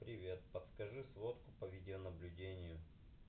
привет подскажи сводку по видеонаблюдению